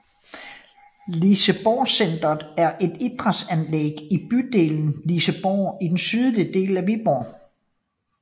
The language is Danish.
Liseborgcentret er et idrætsanlæg i bydelen Liseborg i den sydlige del af Viborg